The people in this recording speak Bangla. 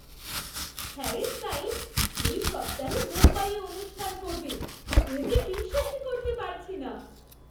হ্যারি স্টাইল্‌স এই সপ্তাহে মুম্বাইয়ে অনুষ্ঠান করবে, এ যে বিশ্বাসই করতে পারছি না!